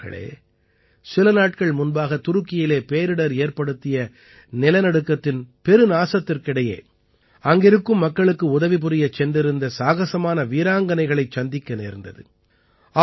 நண்பர்களே சில நாட்கள் முன்பாக துருக்கியிலே பேரிடர் ஏற்படுத்திய நிலநடுக்கத்தின் பெருநாசத்திற்கிடையே அங்கிருக்கும் மக்களுக்கு உதவிபுரிய சென்றிருந்த சாகஸமான வீராங்கனைகளைச் சந்திக்க நேர்ந்தது